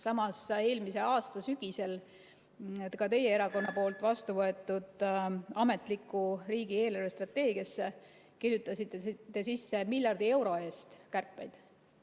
Samas, eelmise aasta sügisel ka teie erakonna poolt vastu võetud ametlikku riigi eelarvestrateegiasse kirjutasite te sisse miljardi euro eest kärpeid.